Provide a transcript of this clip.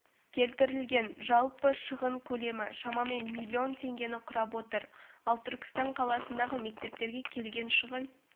келтірілген жалпы шығын көлемі шамамен миллион теңгені құрап отыр ал түркістан қаласындағы мектептерге келген шығын